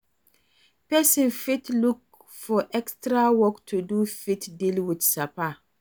Person fit look for extra work do to fit deal with sapa